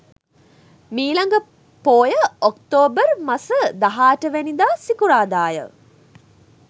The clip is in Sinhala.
මීළඟ පෝය ඔක්තෝබර් මස 18 වෙනිදා සිකුරාදා ය.